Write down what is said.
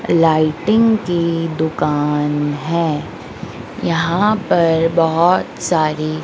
lighting की दुकान है यहां पर बहोत सारी--